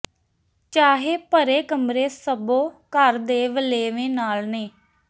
ਚਾਹੇ ਭਰੇ ਕਮਰੇ ਸਭੋ ਘਰ ਦੇ ਵਲੇਵੇ ਨਾਲ ਨੇ